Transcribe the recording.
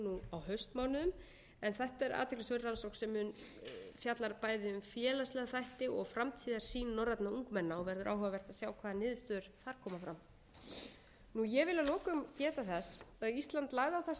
á haustmánuðum en þetta er athyglisverð rannsókn sem fjallar bæði um félagslega þætti og framtíðarsýn norræna ungmenna og verður áhugavert að sjá hvaða niðurstöður þar koma fram ég vil að lokum geta þess að ísland lagði á það sérstaka áherslu á